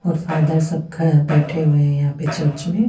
और फेदर सबका बेठे हुए है यहाँ पर चर्च में--